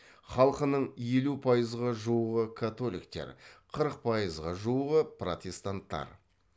халқының елу пайызға жуығы католиктер қырық пайызға жуығы протестанттар